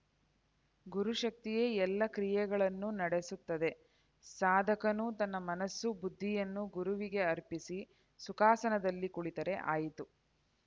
ಗುರುಶಕ್ತಿಯೇ ಎಲ್ಲ ಕ್ರಿಯೆಗಳನ್ನು ನಡೆಸುತ್ತದೆ ಸಾಧಕನು ತನ್ನ ಮನಸ್ಸು ಬುದ್ಧಿಯನ್ನು ಗುರುವಿಗೆ ಅರ್ಪಿಸಿ ಸುಖಾಸನದಲ್ಲಿ ಕುಳಿತರೆ ಆಯಿತು